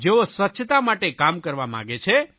જેઓ સ્વચ્છતા માટે કામ કરવા માગે છે